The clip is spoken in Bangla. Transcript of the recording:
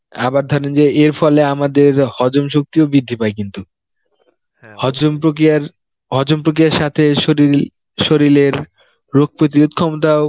আবার ধরেন যে এর ফলে আমাদের হজম শক্তিও বৃদ্ধি পায় কিন্তু, হজম প্রক্রিয়ার হজম প্রক্রিয়ার সাথে শরীল~ শরীলের রোগ প্রতিরোধ ক্ষমতাও